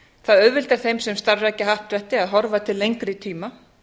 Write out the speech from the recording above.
það auðveldar þeim sem starfrækja happdrætti að horfa til lengri tíma